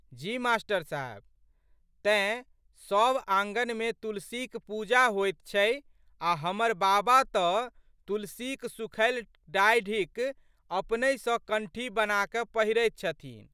जी मा.साहेब! तेँ, सब आँगनमे तुलसीक पूजा होइत छै आ' हमर बाबा तऽ तुलसीक सुखैल डाढ़िक अपनहि सँ कण्ठी बनाकए पहिरैत छथिन।